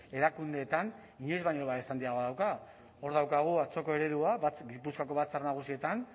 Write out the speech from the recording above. erakundeetan inoiz baino babes handiagoa dauka hor daukagu atzoko eredua gipuzkoako batzar nagusietan